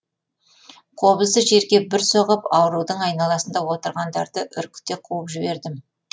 қобызды жерге бір соғып аурудың айналасында отырғандарды үркіте қуып жібердім